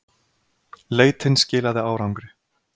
Leitin skilaði árangri.